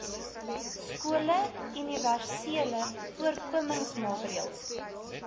skole universele voorkomingsmaatreëls